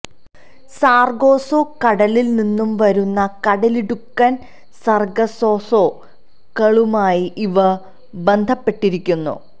Sargasso കടലിൽ നിന്നും വരുന്ന കടലിടുക്കൻ സർഗസോസോ കളുമായി ഇവ ബന്ധപ്പെട്ടിരിക്കുന്നു